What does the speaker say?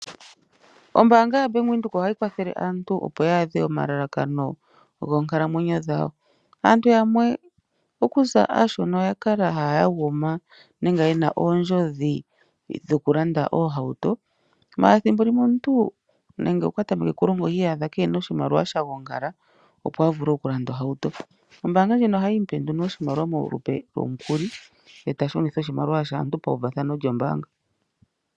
Ombaanga yaVenduka ohayi kwathele aantu opo ya adhe omalalakano goonkalamwenyo dhawo. Aantu yamwe okuza aashona oya kala haya yaguma nenge yena oondjodhi dhokulanda oohauto. Ashike thimbo limwe omuntu nande okwa tameke okulonga ohi iyadha keena oshimaliwa sha gongala opo a vule okulanda ohauto. Ombaanga ndjino ohayi mupe nduno oshimaliwa molupe lwomukuli ye eta shunitha oshimaliwa shaantu pauvathano lyombaanga.